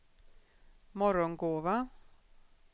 Morgongåva